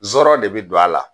Zɔrɔ de bi don a la